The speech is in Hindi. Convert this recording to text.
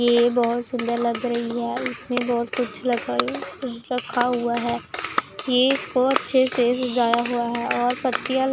ये बहुत सुंदर लग रही है इसमें बहुत कुछ लगा है रखा हुआ है ये इसको अच्छे से सजाया हुआ है और पत्तियां ल --